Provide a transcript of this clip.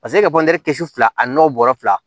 Paseke e ka kisi fila n'o bɔrɛ fila